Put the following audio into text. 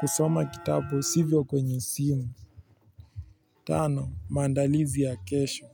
Kusoma kitabu sivyo kwenye simu. Tano maandalizi ya kesho.